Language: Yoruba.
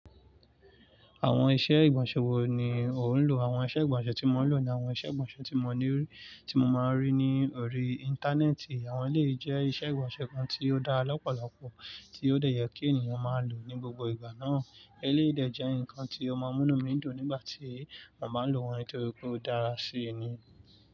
Àwọn iṣẹ́ ìgbọ̀nsẹ̀ wo ni ò ń lò? Àwọn iṣẹ́ ìgbọ̀nsẹ̀ tí mo ń lò ni àwọn iṣẹ́ ìgbọ̀nsẹ̀ tí mo ní rí, tí mo máa ń rí ní orí Íńtánẹ́ẹ̀tì. Àwọn elèyi jẹ́ iṣẹ́ ìgbọ̀nsẹ̀ kan tí ó dára lọ́pọ̀lọpọ̀, tí ó dẹ yẹ kí ènìyàn máa lò ní gbogbo ìgbà náà. Eléyìí dẹ̀ jẹ nǹkan tí ó máa múnú mi dùn nígbà tí mo báa ń lò wọ́n nítorí pé ó dára síi ni.